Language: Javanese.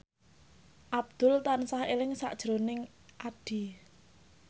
Abdul tansah eling sakjroning Addie